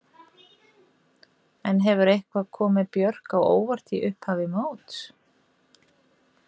En hefur eitthvað komið Björk á óvart í upphafi móts?